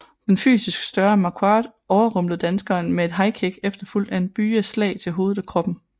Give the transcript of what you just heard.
Den fysisk større Marquardt overrumplede danskeren med et highkick efterfulgt af en byge af slag til hovedet og kroppen